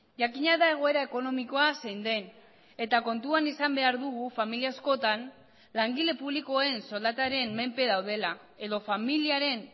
jakina da egoera ekonomikoa zein den eta kontuan izan behar dugu familia askotan langile publikoen soldataren menpe daudela edo familiaren